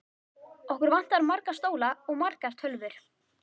Okkur vantar marga stóla og margar tölvur.